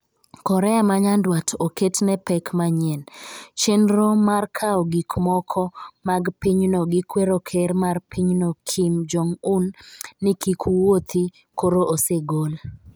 Korea manyandwat oket ne pek manyien Chenro mar kawo gikmoko mag pinyno gi kwero Ker mar pinyno Kim Jong Un ni kik wuothi koro osegol